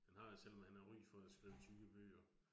Han har jo selvom han har ry for at skrive tykke bøger